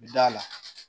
Bɛ d'a la